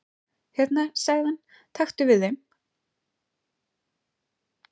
"""Hérna sagði hann, taktu við þeim"""